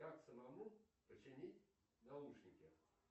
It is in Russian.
как самому починить наушники